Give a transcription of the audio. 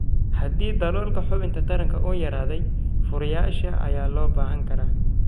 Haddii daloolka xubinta taranka uu yaraaday, furayaasha ayaa loo baahan karaa.